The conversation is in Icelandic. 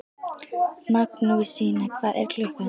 Magnúsína, hvað er klukkan?